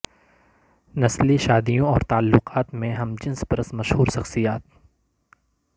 نسلی شادیوں اور تعلقات میں ہم جنس پرست مشہور شخصیات